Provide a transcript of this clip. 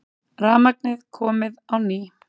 Rafmagnið komið á ný